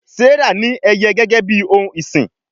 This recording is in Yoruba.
Serah ní Ẹyẹ gégé bí òún ìsìn.